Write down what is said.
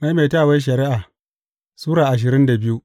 Maimaitawar Shari’a Sura ashirin da biyu